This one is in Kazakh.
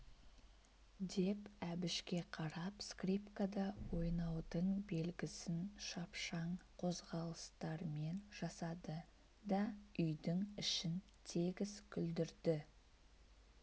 деп әбішке қарап скрипкада ойнаудың белгісін шапшаң қозғалыстармен жасады да үйдің ішін тегіс күлдірді